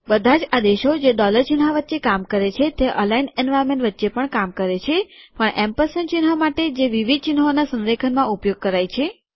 બધાજ આદેશો જે ડોલર ચિહ્ન વચ્ચે કામ કરે છે તે અલાઈન્ડ એન્વાર્નમેન્ટ વચ્ચે પણ કામ કરે છે પણ એમ્પરસેન્ડ ચિહ્ન માટે જે વિવિધ ચિહ્નોના સંરેખનમાં પ્રયોગ કરાય છે